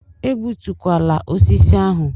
Egbutukwala osisi ahụ!